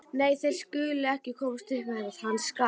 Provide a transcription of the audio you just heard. Nei, þeir skulu ekki komast upp með þetta, hann skal.